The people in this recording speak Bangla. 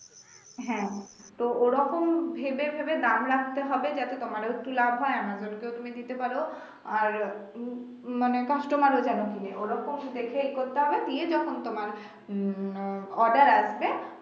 হ্যা তো ওরকম ভেবে ভেবে দাম রাখতে হবে যাতে তোমারও একটু লাভ হয় অ্যামাজনকেও তুমি দিতে পারো আর উম মানে customer ও যেনো কিনে ওরকম দেখেই করতে হবে যখন তোমার উম আহ অর্ডার আসবে